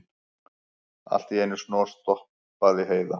Allt í einu snarstoppaði Heiða.